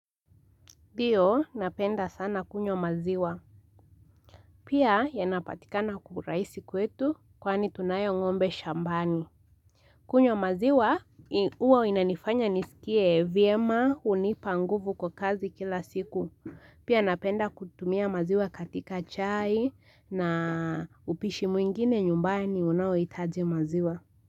Dio napenda sana kunywa maziwa. Pia yanapatikana kuraisi kwetu kwani tunayo ngombe shambani. Kunywa maziwa i uwa inanifanya nisikie vyema, hunipa nguvu kwa kazi kila siku. Pia napenda kutumia maziwa katika chai na upishi mwingine nyumbani unaoitaji maziwa.